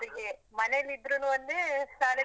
ಅವ್ರಿಗೆ ಮನೇಲಿ ಇದ್ರೂನು ಒಂದೇ ಶಾಲೆಗ್.